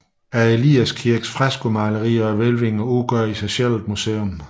Eliaskirkens freskomalerier og hvælvinger udgør i sig selv et museum